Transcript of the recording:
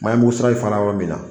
Maayamusa i fana yɔrɔ min na